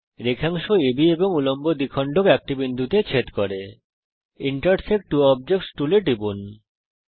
রেখাংশ আব এবং উল্লম্ব দ্বিখণ্ডক একটি বিন্দুতে ছেদ করে ইন্টারসেক্ট ত্ব অবজেক্টস টুলে টিপুন